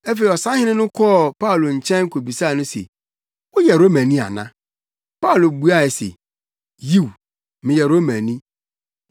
Afei ɔsahene no kɔɔ Paulo nkyɛn kobisaa no se, “Woyɛ Romani ana?” Paulo buaa no se, “Yiw meyɛ Romani.”